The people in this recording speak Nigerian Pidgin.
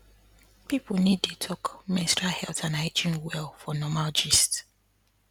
people need dey talk menstrual health and hygiene well for normal gist